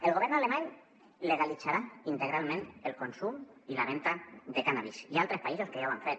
el govern alemany legalitzarà integralment el consum i la venda de cànnabis i hi ha altres països que ja ho han fet